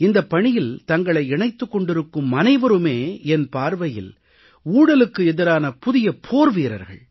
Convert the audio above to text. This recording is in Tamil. இந்தப் பணியில் தங்களை இணைத்துக் கொண்டிருக்கும் அனைவருமே என் பார்வையில் ஊழலுக்கு எதிரான புதிய போர் வீரர்கள்